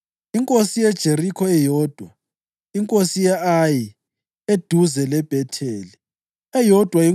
inkosi yeJerikho, eyodwa inkosi ye-Ayi (eduze leBhetheli), eyodwa